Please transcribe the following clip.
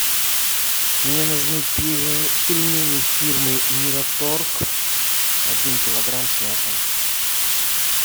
мне нужны пельмени фирмы мираторг один килограмм с мясом